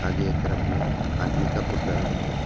आगे तरफ में आदमी का पुतला लोग भी है।